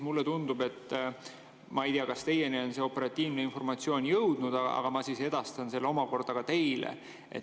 Ma ei tea, kas teieni on see operatiivne informatsioon jõudnud, ma siis edastan selle omakorda teile.